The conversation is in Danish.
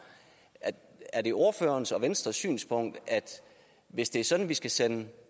er det ordførerens og venstres synspunkt at hvis det er sådan at vi skal sende